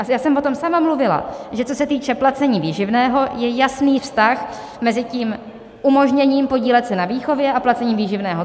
A já jsem o tom sama mluvila, že co se týče placení výživného, je jasný vztah mezi tím umožněním podílet se na výchově a placením výživného.